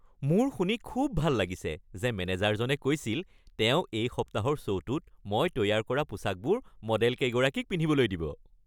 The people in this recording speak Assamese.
মোৰ শুনি খুব ভাল লাগিছে যে মেনেজাৰজনে কৈছিল, তেওঁ এই সপ্তাহৰ শ্ব'টোত মই তৈয়াৰ কৰা পোচাকবোৰ মডেলকেইগৰাকীক পিন্ধিবলৈ দিব।